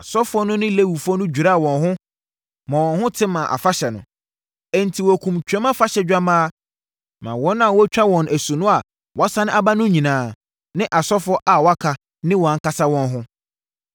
Asɔfoɔ no ne Lewifoɔ no dwiraa wɔn ho, ma wɔn ho te maa afahyɛ no. Enti, wɔkumm Twam Afahyɛ dwammaa maa wɔn a wɔtwaa wɔn asu no a wɔasane aba no nyinaa ne asɔfoɔ a wɔaka ne wɔn ankasa wɔn ho.